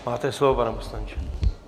Máte slovo, pane poslanče.